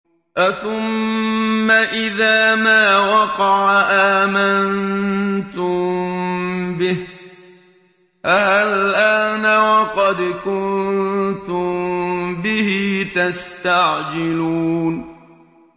أَثُمَّ إِذَا مَا وَقَعَ آمَنتُم بِهِ ۚ آلْآنَ وَقَدْ كُنتُم بِهِ تَسْتَعْجِلُونَ